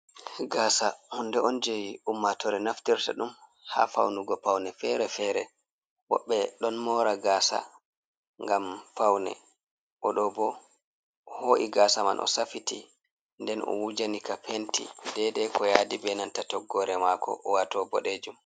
Gasa hunde on jewi ummatore naftirta ɗum ha faunugo paune fere-fere, woɓɓe ɗon mora gasa ngam paune, oɗo bo o ho’i gasa man o safiti, nden o wujani ka penti dede ko yadi benanta toggore mako o wato boɗejum.